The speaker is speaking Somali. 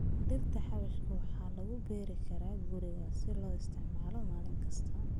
Dhirta xawaashka waxaa lagu beeri karaa guriga si loo isticmaalo maalin kasta.